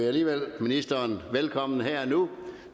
alligevel ministeren velkommen her